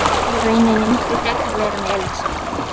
Hann vildi í rauninni miklu frekar fara með Elísu.